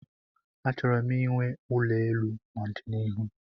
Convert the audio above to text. Achọrọ m inwe ulo elu n'ọdịnihu